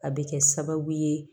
A bɛ kɛ sababu ye